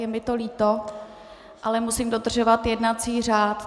Je mi to líto, ale musím dodržovat jednací řád.